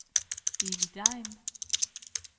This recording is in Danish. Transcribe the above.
Eli Degn